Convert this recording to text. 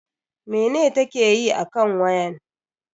Mene ta ke yi akan wayan?